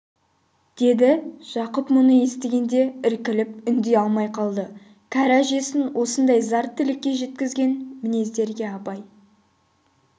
деді жақып бұны естігенде іркіліп үндей алмай қалды кәрі әжесін осындай зар тілекке жеткізген мінездерге абай